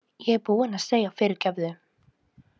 Ég er búinn að segja fyrirgefðu